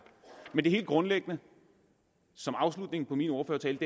men helt grundlæggende og som afslutning på min ordførertale